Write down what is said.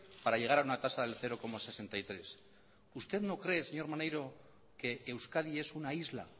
para llegar a una tasa del cero coma sesenta y tres usted no cree señor maneiro que euskadi es una isla